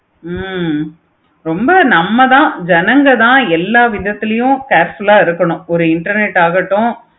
ஹம் ரொம்ப நம்ம தன ஜனங்க தன எல்லா விதத்துலையும் careful ஆஹ் இருக்கட்டும் ஒரு internet ஆகட்டும்